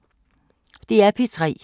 DR P3